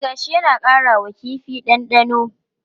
E, gashi yana ƙara wa kifi ɗanɗano.